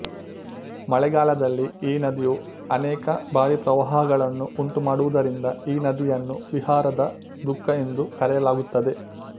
ಮಳೆಗಾಲದಲ್ಲಿ ಈ ನದಿಯು ಅನೇಕ ಬಾರಿ ಪ್ರವಾಹಗಳನ್ನು ಉಂಟುಮಾಡುವುದರಿಂದ ಈ ನದಿಯನ್ನು ಬಿಹಾರದ ದುಃಖ ಎಂದು ಕರೆಯಲಾಗುತ್ತದೆ